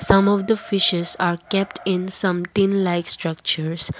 some of the fishes are kept in some tin like structures.